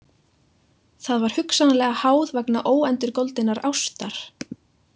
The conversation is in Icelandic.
Það var hugsanlega háð vegna óendurgoldinnar ástar.